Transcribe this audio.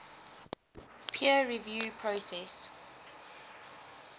peer review process